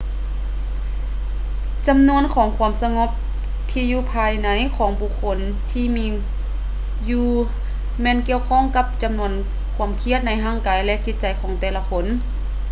ຈຳນວນຂອງຄວາມສະຫງົບທີ່ຢູ່ພາຍໃນຂອງບຸກຄົນທີ່ມີຢູ່ແມ່ນກ່ຽວຂ້ອງກັບຈຳນວນຄວາມຄຽດໃນຮ່າງກາຍ ແລະ ຈິດໃຈຂອງແຕ່ລະຄົນ